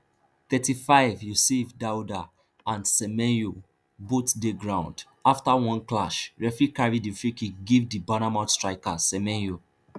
thirty-fiveyusif daouda and semenyo both dey ground afta one clash referee carry di freekick give di bournemouth striker semenyo